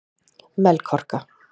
Melkorka